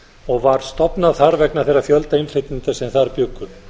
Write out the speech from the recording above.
og var stofnað þar vegna þeirra fjölda innflytjenda sem þar bjuggu